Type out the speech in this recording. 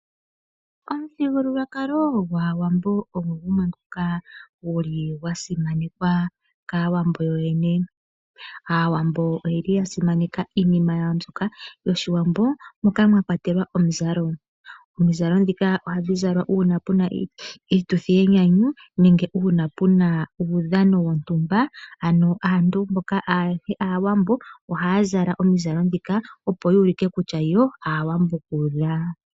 Omuthigululwakalo gwAawambo ogo gumwe ngoka guli gwasimanekwa kAawambo yo yene. Aawambo oyeli yasimaneka iinima yawo mbyoka yOshiwambo moka mwa kwatelwa omuzalo, omizalo ndhika ohadhi zalwa una pu na iituthi yenyanyu nenge una pu na uudhano wontumba, ano aantu mboka ayehe Aawambo ohaya zala omizalo ndhika opo yu ulike kutya yo Aawambo kuudha.